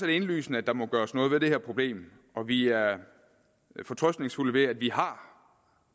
det indlysende at der må gøres noget ved det her problem og vi er fortrøstningsfulde ved at vi har